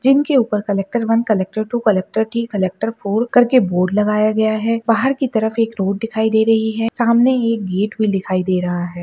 जिनके ऊपर collector one collector two collector three collector four करके बोर्ड लगाया गया है बाहर की तरफ एक रोड दिखाई दे रही है सामने एक गेट भी दिखाई दे रहा है।